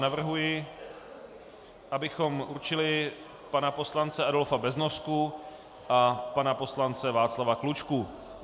Navrhuji, abychom určili pana poslance Adolfa Beznosku a pana poslance Václava Klučku.